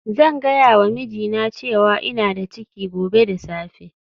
Zan gaya wa mijina cewa ina da ciki gobe da safe